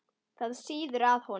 Það sýður á honum.